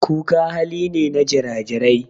Kuka hali ne na jira-jirai.